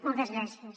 moltes gràcies